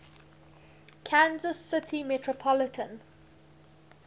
kansas city metropolitan